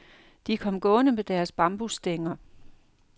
De kom gående med deres bambusstænger.